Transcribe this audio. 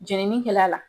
Jenini kɛla la